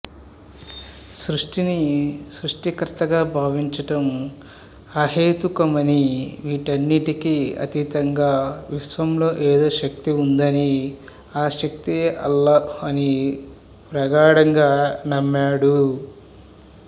సృష్టిని సృష్టికర్తగా భావించడం అహేతుకమని వీటన్నికీ అతీతంగా విశ్వంలో ఏదో శక్తివుందని ఆసక్తియే అల్లాహ్ అని ప్రగాఢంగా నమ్మాడు